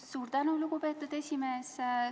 Suur tänu, lugupeetud esimees!